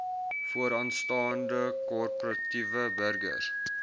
vooraanstaande korporatiewe burgers